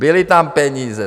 Byly tam peníze.